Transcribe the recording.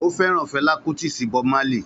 Ó fẹ́ràn Fela Kuti sí Bob Marley